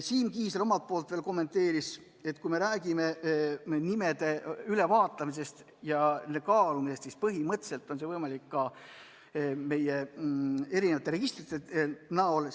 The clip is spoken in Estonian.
Siim Kiisler kommenteeris, et kui me räägime nimede ülevaatamisest ja kaalumisest, siis põhimõtteliselt on see võimalik ka meie erinevate registrite näol.